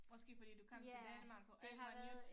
Måske fordi du kom til Danmark og alt er nyt